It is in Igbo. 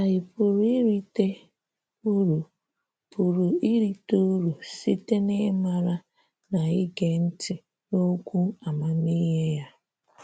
Ànyị pụrụ irite uru pụrụ irite uru site n’ịmara na ịge ntị n’okwu amamihe ya?